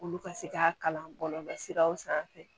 Olu ka se k'a kalan bɔlɔlɔ siraw sanfɛ